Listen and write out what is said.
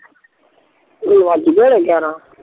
ਵਜ ਗਏ ਹੁਣੇ ਗਿਆਰਾਂ